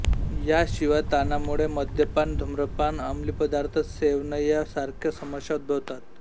या शिवाय ताणामुळे मद्यपान धूम्रपानअमलीपदार्थ सेवनया सारख्या समस्या उद्भवतात